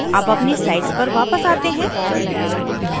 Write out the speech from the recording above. अब अपनी slide पर वापस आते हैं